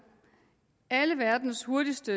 alle verdens hurtigst